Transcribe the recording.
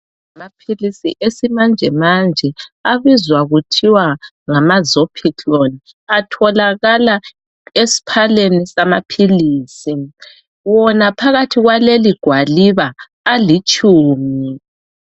Ngamaphilisi esimanje manje abizwa kuthiwa ngama "Zopiclone" atholakala esphaleni amaphilizi, wona phakathi kwaleli gwaliba alitshumi.